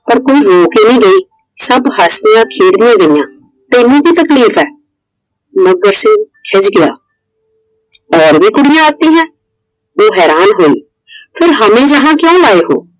ਪਰ ਕੋਈ ਰੋ ਕੇ ਨਹੀਂ ਗਈ I ਸਭ ਹੱਸਦੀਆਂ ਖੇਡਦੀਆਂ ਗਈਆਂ ਤੈਨੂੰ ਕਿ ਤਕਲੀਫ ਏ? ਮੱਘਰ ਸਿੰਘ ਖਿੱਝ ਗਿਆ । और भी कुड़िए आती है । ਉਹ ਹੈਰਾਨ ਹੋਈ। फिर हमें यहाँ क्यों लाये हो?